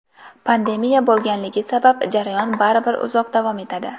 Pandemiya bo‘lganligi sabab jarayon baribir uzoq davom etadi.